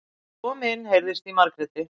Kom inn, heyrðist í Margréti.